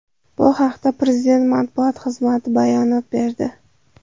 Bu haqda Prezident matbuot xizmati bayonot berdi .